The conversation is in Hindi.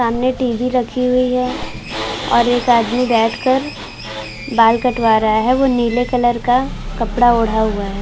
सामने टीवी रखी हुई है और एक आदमी बैठ कर बाल कटवा रहा है वो नीले कलर का कपड़ा ओढा हुआ है।